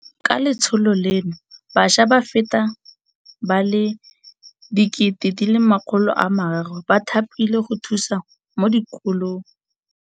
Ka letsholo leno bašwa ba feta ba le 300 000 ba thapilwe go thusa mo dikolong.